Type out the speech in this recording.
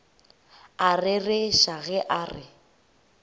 a rereša ge a re